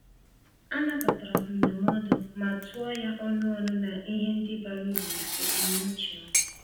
A nabatara m ndụmọdụ, ma tụọ ya ọnụ ọnụ na ihe ndi bara uru na ebumnuche m.